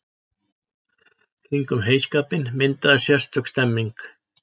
Kringum heyskapinn myndaðist sérstök stemmning.